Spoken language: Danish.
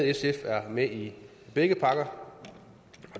sf er med i begge pakker